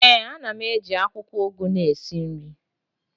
ee, a na m eji akwukwo ugu na esi nri